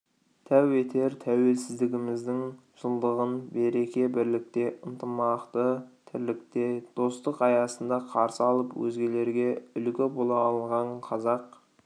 тәу етер тәуелсіздігіміздің жылдығын береке-бірлікте ынтымақты тірлікте достық аясында қарсы алып өзгелерге үлгі бола алған қазақ